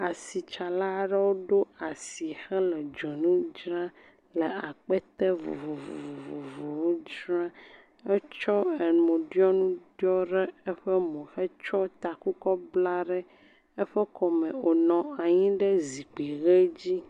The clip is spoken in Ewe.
Asitsala aɖewo ɖo asi hele dzonu dzram, le akpete vovovowo dzra, wotsɔ emotsyɔnu kɔ tsyɔ mo hetsɔ taku kɔ bla ɖe eƒe kɔme wònɔ anyi ɖe eƒe zikpui ʋe dzi.